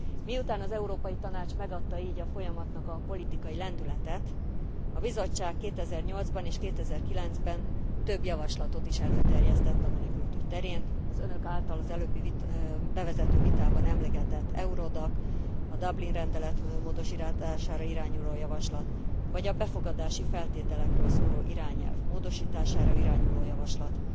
Miután az Európai Tanács megadta így a folyamatnak a politikai lendületet, a Bizottság 2008 ban és 2009 ben több javaslatot is előterjesztett a menekültügy terén az önök által az előbbi bevezető vitában emlegetett Eurodac, a Dublin rendelet módosítására irányuló javaslat vagy a befogadási feltételekről szóló irányelv módosítására irányuló javaslat,